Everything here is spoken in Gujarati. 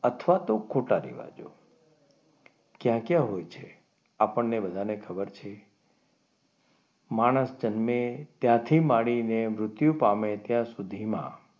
અથવા તો ખોટા રિવાજો ક્યાં ક્યાં હોય છે આપણને બધાને ખબર છે માણસ જન્મે ત્યાંથી માંડીને મૃત્યુ પામે ત્યાં સુધી માં,